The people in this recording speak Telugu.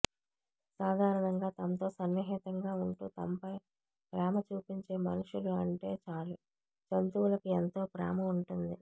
సాధారణంగా తమతో సన్నిహితంగా ఉంటూ తమపై ప్రేమ చూపించే మనుషులు అంటే చాలు జంతువులకు ఎంతో ప్రేమ ఉంటుంది